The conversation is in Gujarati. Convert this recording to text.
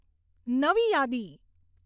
નવી યાદી